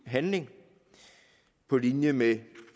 handling på linje med